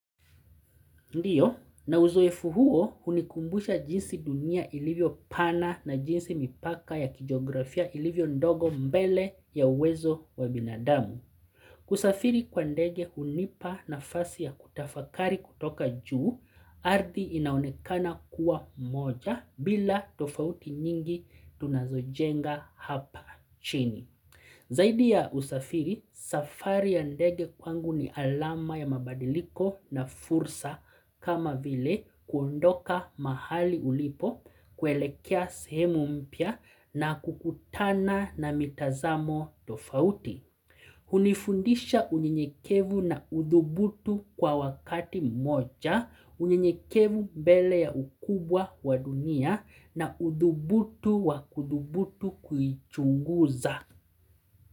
Ndio, na uzoefu huo hunikumbusha jinsi dunia ilivyo pana na jinsi mipaka ya kijiografia ilivyo ndogo mbele ya uwezo wa binadamu. Kusafiri kwa ndege hunipa nafasi ya kutafakari kutoka juu, ardhi inaonekana kuwa moja bila tofauti nyingi tunazojenga hapa chini. Zaidi ya usafiri, safari ya ndege kwangu ni alama ya mabadiliko na fursa kama vile kuondoka mahali ulipo, kuelekea sehemu mpya na kukutana na mitazamo tofauti. Hunifundisha unyenyekevu na udhubutu kwa wakati mmoja, unyenyekevu mbele ya ukubwa wa dunia na udhubutu wa kudhubutu kuichunguza.